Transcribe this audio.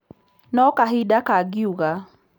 Nũ kahinda kagĩuga .